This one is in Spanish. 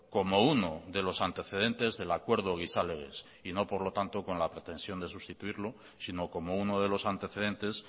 como uno de los antecedentes del acuerdo gizalegez y no por lo tanto con la pretensión de sustituirlo sino como uno de los antecedentes